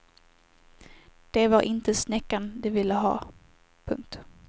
Det var inte snäckan de ville ha. punkt